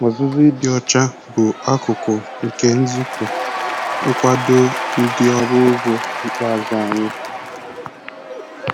Ọzụzụ ịdị ọcha bụ akụkụ nke nzukọ nkwado ndị ọrụ ugbo ikpeazụ anyị.